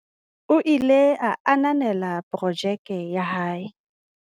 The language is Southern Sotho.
o ile a ananela porojeke ya hae